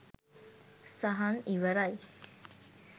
සහන් ඉවරයි !